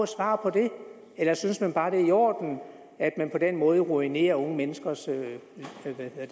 svar på det eller synes man bare det er i orden at man på den måde ruinerer unge menneskers